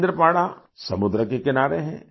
केंद्रपाड़ा समुंद्र के किनारे है